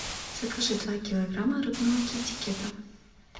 закажи два килограмма рыбного китикета